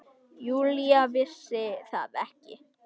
Júlía vissi það ekki.